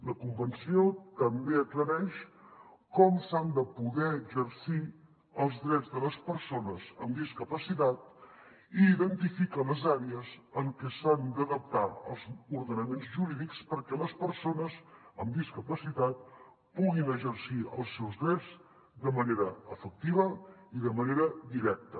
la convenció també aclareix com s’han de poder exercir els drets de les persones amb discapacitat i identifica les àrees en què s’han d’adaptar els ordenaments jurídics perquè les persones amb discapacitat puguin exercir els seus drets de manera efectiva i de manera directa